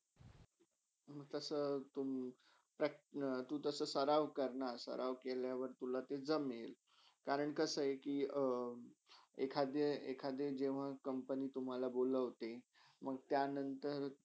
तू तसा तू अं सराव करना तसे सारव केल्यावर तुला ते जमेल करण कासे आहे कि अं एकाधे, एकादे जेवहा company तुम्हाला बोलोवते मंग तय नंतर.